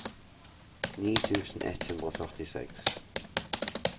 ni tusen ett hundre og førtiseks